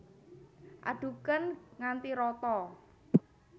Adhuken nganti rata